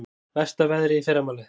Versta veðrið í fyrramálið